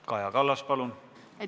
Kaja Kallas, palun!